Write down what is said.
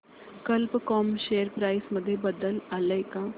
कल्प com share price मध्ये बदल आलाय का